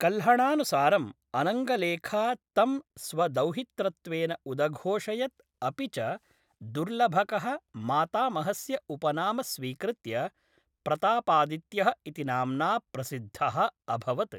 कल्हणानुसारम्, अनङ्गलेखा तं स्वदौहित्रत्वेन उदघोषयत् अपि च दुर्लभकः मातामहस्य उपनाम स्वीकृत्य प्रतापादित्यः इति नाम्ना प्रसिद्धः अभवत्।